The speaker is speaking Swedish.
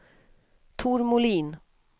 Tor Molin